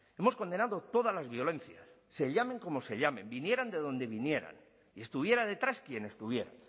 hemos condenado todas las violencias se llamen cómo se llamen vinieran de dónde vinieran y estuviera detrás quién estuviera